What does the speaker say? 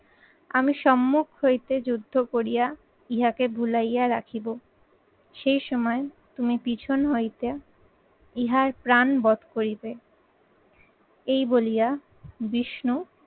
আমি সম্মুখ হইতে যুদ্ধ করিয়া ইহাকে ভুলাইয়া রাখিব সেই সময় তুমি পিছন হইতে ইহার প্রাণ বধ করিবে। এই বলিয়া বিষ্ণু